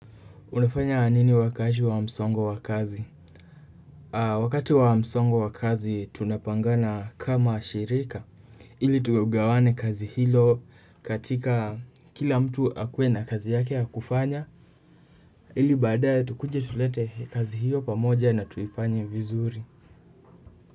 Unafanya nini wakati wa msongo wa kazi? Wakati wa msongo wa kazi tunapangana kama shirika. Ili tugawane kazi hilo katika kila mtu akuwe na kazi yake ya kufanya. Ili baadae tukuje tulete kazi hiyo pamoja na tuifanye vizuri.